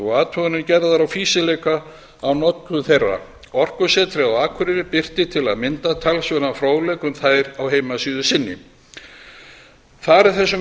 og athuganir gerðar á fýsileika á notkun þeirra orkusetrið á akureyri birtir til að mynda talsverðan fróðleik um þær á heimasíðu sinni þar er þessum